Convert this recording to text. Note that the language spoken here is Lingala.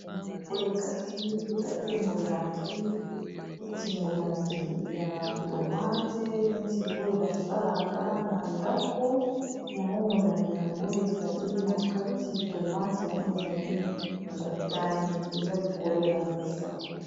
Boye kasi ezali molangi neti molangi ya tomate neti oyo basalaka na ndako yango molangi yango ezali na kati tomate yango ezali motane eza likolo ya mesa.